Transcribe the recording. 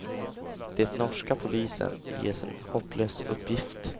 Det norska polisen ges en hopplös uppgift.